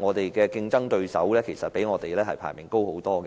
我們的競爭對手比我們的排名高很多。